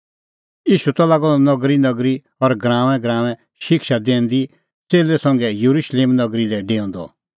ईशू त लागअ द नगरीनगरी और गराऊंऐंगराऊंऐं शिक्षा दैंदी च़ेल्लै संघै येरुशलेम नगरी लै डेऊंदअ